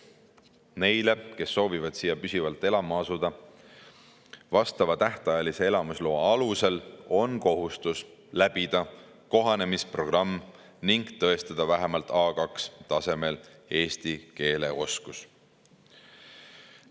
Neil, kes soovivad siia püsivalt elama asuda vastava tähtajalise elamisloa alusel, on kohustus läbida kohanemisprogramm ning tõestada vähemalt A2-tasemel eesti keele oskust.